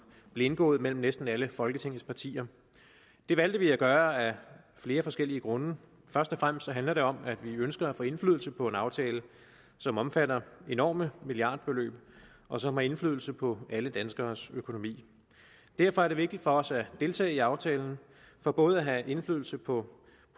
blev indgået mellem næsten alle folketingets partier det valgte vi at gøre af flere forskellige grunde først og fremmest handler det om at vi ønsker at få indflydelse på en aftale som omfatter enorme milliardbeløb og som har indflydelse på alle danskeres økonomi derfor er det vigtigt for os at deltage i aftalen for både at have indflydelse på